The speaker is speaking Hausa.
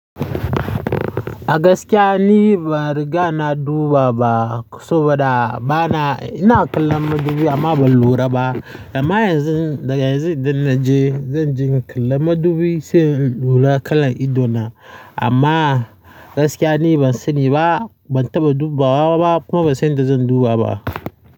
A gaskiya ni bari gana duba ba saboda bana-- ina kallon madubi amma ban lura ba. Amma yanzu daga yanzu idan na je zan je in kalla madubi sai in lura kalan idona. Amma gaskiya ni ban sani ba, ban taɓa dubawa ba kuma ban san yadda zan duba ba.